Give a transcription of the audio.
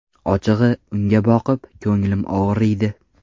Ochig‘i, unga boqib, ko‘nglim og‘riydi.